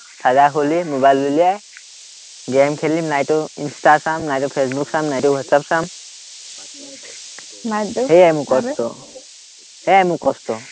charger খুলি, mobile উলিয়াই game খেলিম, নাইতো ইনষ্টা চাম, নাইতো ফেচবুক চাম, নাইতো হোৱাটচআপ চাম, সেয়াই মোৰ কষ্ট